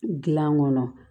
Gilan kɔnɔ